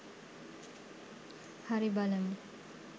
හරි බලමු